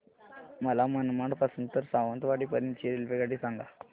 मला मनमाड पासून तर सावंतवाडी पर्यंत ची रेल्वेगाडी सांगा